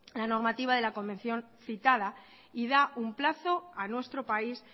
la normativa de la convención citada y da un plazo a nuestro país